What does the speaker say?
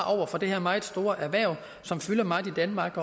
have for det her meget store erhverv som fylder meget i danmark